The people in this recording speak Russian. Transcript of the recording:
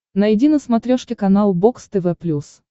найди на смотрешке канал бокс тв плюс